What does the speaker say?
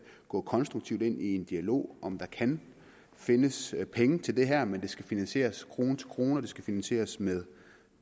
gå konstruktivt ind i en dialog om der kan findes penge til det her men det skal finansieres krone til krone og det skal finansieres med